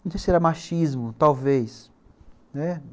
Não sei se era machismo, talvez, né.